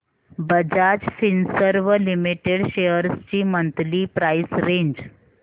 Bajaj Finserv limited shares ची monthly price range